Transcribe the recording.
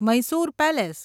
Mysore palace